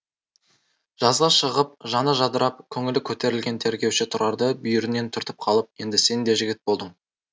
жазға шығып жаны жадырап көңілі көтерілген тергеуші тұрарды бүйірінен түртіп қалып енді сен де жігіт болдың